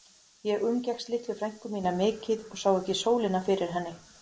Ég umgekkst litlu frænku mína mikið og sá ekki sólina fyrir henni.